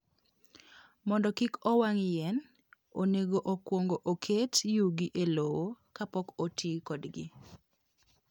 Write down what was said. Mondo kik owang' yien, onego okwong oket yugi e lowo kapok oti kodgi.